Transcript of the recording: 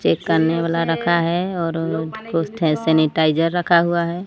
Check करने वाला रखा हैं और कुछ ठे सॅनिटायझर रखा हुआ हैं।